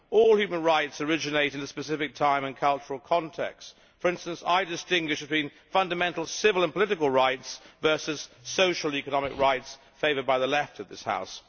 All human rights originate in a specific time and cultural context. For instance, I distinguish between fundamental civil and political rights versus the social economic rights favoured by the Left of this House.